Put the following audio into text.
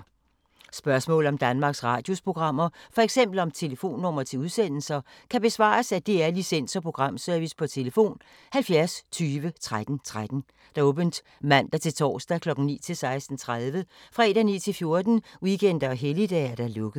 Spørgsmål om Danmarks Radios programmer, f.eks. om telefonnumre til udsendelser, kan besvares af DR Licens- og Programservice: tlf. 70 20 13 13, åbent mandag-torsdag 9.00-16.30, fredag 9.00-14.00, weekender og helligdage: lukket.